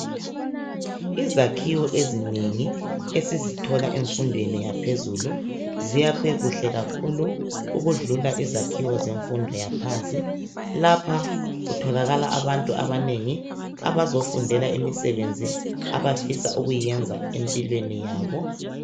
Izakhiwo ezinengi ,esizithola emfundweni yaphezulu, ziyakhwe kuhle kakhulu ukudlula izakhiwo zemfundo yaphansi .Lapha kutholakala abantu abanengi abazofundela imisebenzi abafisa ukuyenza empilweni yabo.